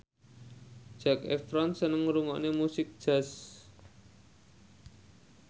Zac Efron seneng ngrungokne musik jazz